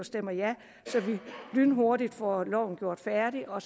stemmer ja så vi lynhurtigt får loven gjort færdig og